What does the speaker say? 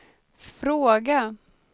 fråga